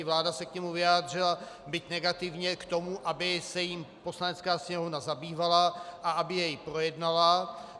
I vláda se k němu vyjádřila, byť negativně k tomu, aby se jím Poslanecká sněmovna zabývala a aby jej projednala.